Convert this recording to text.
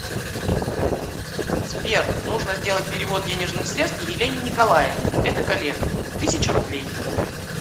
сбер нужно сделать перевод денежных средств елене николаевне это коллега тысяча рублей